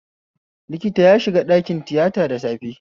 Likta ya shiga ɗakin tiyata da safe